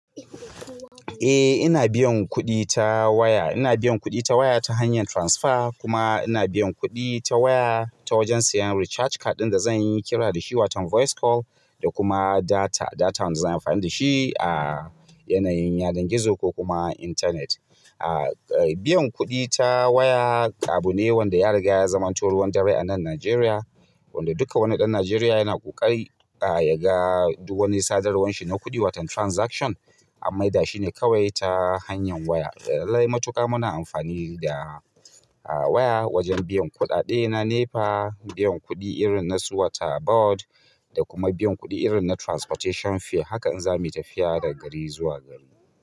Eh, ina biyan kuɗi ta waya. Ina biyan kuɗi ta waya ta hanyar transfer kuma ina biyan kuɗi ta waya ta wajen siyan recharge card ɗin da zan yi kira da shi, wato voice call da kuma data, data wanda zan yi amfani da shi a yanayin yana gizo ko kuma intanet. Biyan kuɗi ta waya abu ne wanda ya riga ya zamanto ruwan dare a nan Najeriya. Wanda duka wani ɗan Najeriya yana ƙoƙari ya ga duk wani sadarwarsa ta kuɗi, wato transaction, an maida shi ne kawai ta hanyar waya. Lallai matuƙar muna amfani da. Waya wajen biyan kuɗaɗe na NEPA, biyan kuɗi irin na su water board da kuma biyan kuɗi irin na transportation fare hakan in zamuyi tafiya daga gari zuwa gari.